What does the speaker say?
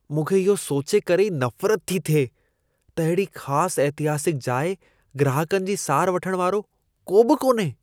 मूंखे इहो सोचे करे ई नफ़रत थी थिए त अहिड़ी ख़ास ऐतिहासिक जाइ ग्राहकनि जी सार वठण वारो को बि कोन्हे।